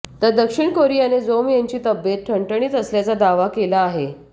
तर दक्षिण कोरियाने जोम यांची तबियत ठणठणीत असल्याचा दावा केला आहे